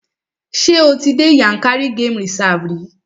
Ṣé o ti dé Yànkárí game reserve rí?